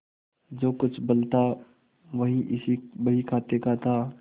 जो कुछ बल था वह इसी बहीखाते का था